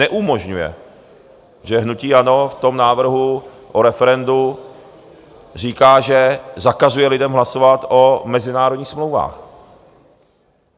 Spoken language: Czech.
Neumožňuje, že hnutí ANO v tom návrhu o referendu říká, že zakazuje lidem hlasovat o mezinárodních smlouvách.